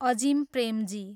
Azim Premji